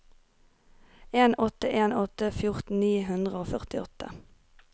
en åtte en åtte fjorten ni hundre og førtiåtte